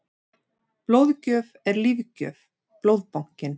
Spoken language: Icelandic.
Blóðgjöf er lífgjöf- Blóðbankinn.